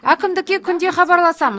әкімдікке күнде хабарласам